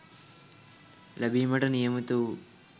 ලබිඉමට නියමිත වූ